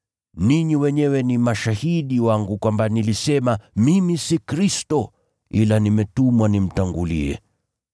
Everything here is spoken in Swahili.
Ninyi wenyewe ni mashahidi wangu kwamba nilisema, ‘Mimi si Kristo, ila nimetumwa nimtangulie.’